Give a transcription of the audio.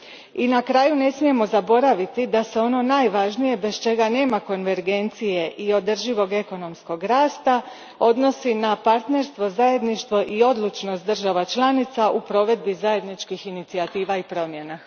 I na kraju ne smijemo zaboraviti da se ono najvažnije bez čega nema konvergencije i održivog ekonomskog rasta odnosi na partnerstvo, zajedništvo i odlučnost država članica u provedbi zajedničkih inicijativa i promjena.